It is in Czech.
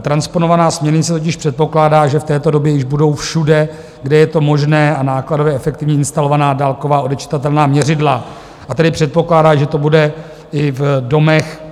Transponovaná směrnice totiž předpokládá, že v této době již budou všude, kde je to možné a nákladově efektivní, instalovaná dálková odečitatelná měřidla, a tedy předpokládá, že to bude i v domech,